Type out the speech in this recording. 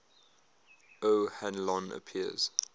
o hanlon appears